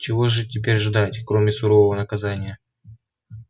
чего же теперь ждать кроме сурового наказания